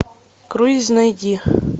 круиз найди